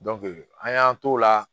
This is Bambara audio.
an y'an t'o la